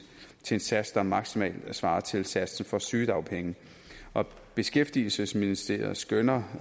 til en sats der maksimalt svarer til satsen for sygedagpenge beskæftigelsesministeriet skønner